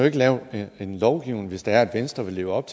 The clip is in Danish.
ikke lave en lovgivning hvis det er at venstre vil leve op